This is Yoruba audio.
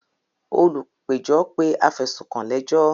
Olùgbẹ́jọ́ pé afẹ̀sùnkàn lẹ́jọ́.